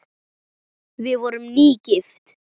Við vorum nýgift!